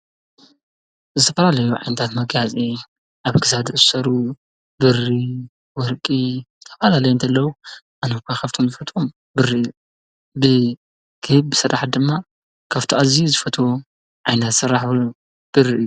ዝተፈላለዩ ዓይነታት መጋየፂ ኣብ ክሳድ ዝእሰሩ ብሪ፣ ወርቂ ዝተፈላለዩ እንተለዉ ኣነ ድማ ካብቶም ዝፈትዮም ብሪ እዪ ብኬብ ዝስራሕ ድማ ኣዝዩ ዝፈትዎ ዓይነት ስራሕ ዉን ብሪ እዪ ።